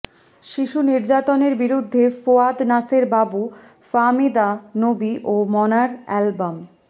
শিশু নির্যাতনের বিরুদ্ধে ফোয়াদ নাসের বাবু ফাহমিদা নবী ও মনার অ্যালবাম